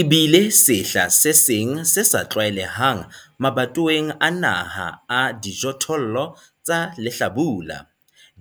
E BILE SEHLA SE SENG SE SA TLWAELEHANG MABATOWENG A NAHA A DIJOTHOLLO TSA LEHLABULA.